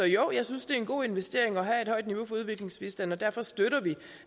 jo jeg synes det er en god investering at have et højt niveau for udviklingsbistand og derfor støtter vi